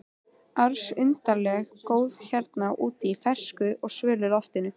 ars undarlega góð hérna úti í fersku og svölu loftinu.